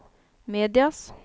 medias